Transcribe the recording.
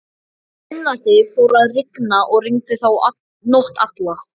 Um miðnætti fór að rigna, og rigndi þá nótt alla.